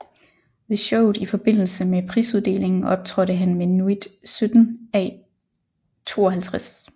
Ved showet i forbindelse med prisuddelingen optrådte han med Nuit 17 à 52